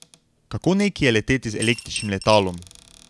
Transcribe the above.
Kako neki je leteti z električnim letalom?